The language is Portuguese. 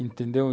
Entendeu?